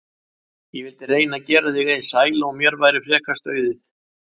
Ég vildi reyna að gera þig eins sæla og mér væri frekast auðið.